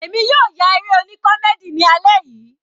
Èmi yóò ya eré oní comdey ni alẹ́ yìí.